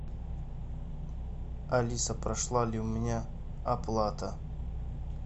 алиса прошла ли у меня оплата